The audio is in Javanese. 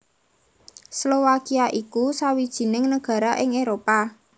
Slowakia iku sawijining nagara ing Éropah